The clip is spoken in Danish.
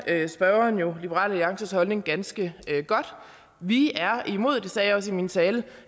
at spørgeren jo kender liberal alliances holdning ganske godt vi er imod det sagde jeg også i min tale